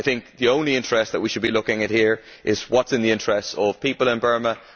The only interest that we should be looking at here is what is in the interests of people in Burma.